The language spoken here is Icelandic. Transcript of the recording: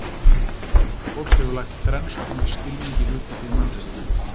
Fólk hefur lagt þrenns konar skilning í hugtakið mannréttindi.